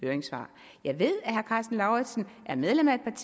venstre at man